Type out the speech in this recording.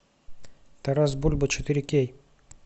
тарас бульба четыре кей